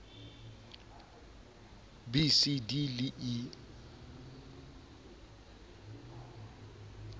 b c d le e